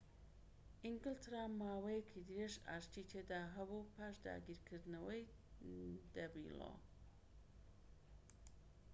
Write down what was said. ئینگلتەرا ماوەیەکی درێژ ئاشتی تێدا هەبوو پاش داگیرکردنەوەی دەینلۆ